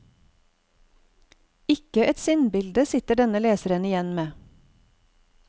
Ikke ett sinnbilde sitter denne leseren igjen med.